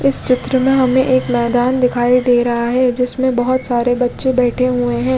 इस चित्र में हमे एक मैदान दिखाई दे रहा है जिसमे बोहोत सारे बच्चे बैठे हुए है।